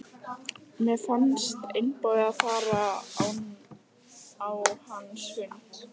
Mér fannst einboðið að fara á hans fund.